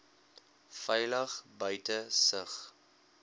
veilig buite sig